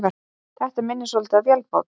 Þetta minnir svolítið á vélbát.